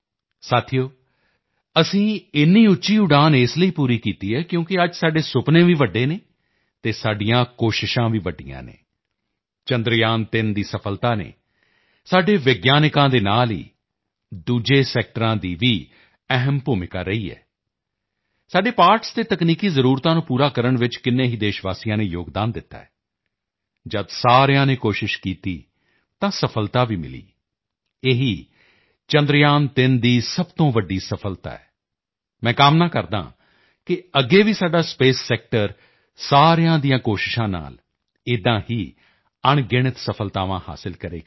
ਸਾਥੀਓ ਅਸੀਂ ਇੰਨੀ ਉੱਚੀ ਉਡਾਣ ਇਸ ਲਈ ਪੂਰੀ ਕੀਤੀ ਹੈ ਕਿਉਂਕਿ ਅੱਜ ਸਾਡੇ ਸੁਪਨੇ ਵੀ ਵੱਡੇ ਹਨ ਅਤੇ ਸਾਡੀਆਂ ਕੋਸ਼ਿਸ਼ਾਂ ਵੀ ਵੱਡੀਆਂ ਹਨ ਚੰਦਰਯਾਨ3 ਦੀ ਸਫ਼ਲਤਾ ਨੇ ਸਾਡੇ ਵਿਗਿਆਨਕਾਂ ਦੇ ਨਾਲ ਹੀ ਦੂਸਰੇ ਸੈਕਟਰਾਂ ਦੀ ਵੀ ਅਹਿਮ ਭੂਮਿਕਾ ਰਹੀ ਹੈ ਸਾਡੇ ਪਾਰਟਸ ਅਤੇ ਤਕਨੀਕੀ ਜ਼ਰੂਰਤਾਂ ਨੂੰ ਪੂਰਾ ਕਰਨ ਚ ਕਿੰਨੀ ਹੀ ਦੇਸ਼ਵਾਸੀਆਂ ਨੇ ਯੋਗਦਾਨ ਦਿੱਤਾ ਹੈ ਜਦ ਸਾਰਿਆਂ ਨੇ ਕੋਸ਼ਿਸ਼ ਕੀਤੀ ਤਾਂ ਸਫ਼ਲਤਾ ਵੀ ਮਿਲੀ ਇਹੀ ਚੰਦਰਯਾਨ3 ਦੀ ਸਭ ਤੋਂ ਵੱਡੀ ਸਫ਼ਲਤਾ ਹੈ ਮੈਂ ਕਾਮਨਾ ਕਰਦਾ ਹਾਂ ਕਿ ਅੱਗੇ ਵੀ ਸਾਡਾ ਸਪੇਸ ਸੈਕਟਰ ਸਾਰਿਆਂ ਦੀਆਂ ਕੋਸ਼ਿਸ਼ਾਂ ਨਾਲ ਏਦਾਂ ਹੀ ਅਣਗਿਣਤ ਸਫ਼ਲਤਾਵਾਂ ਹਾਸਲ ਕਰੇਗਾ